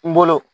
N bolo